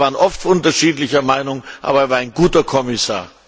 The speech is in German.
Wir waren oft unterschiedlicher Meinung, aber er war ein guter Kommissar.